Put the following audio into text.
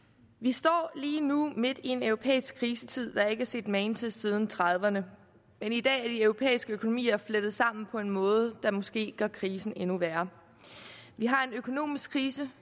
vi står lige nu midt i en europæisk krisetid der ikke er set magen til siden nitten trediverne men i dag er de europæiske økonomier flettet sammen på en måde der måske gør krisen endnu værre vi har en økonomisk krise